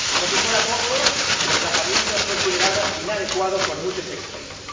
Y, por si fuera poco, el emplazamiento es considerado inadecuado por muchos expertos.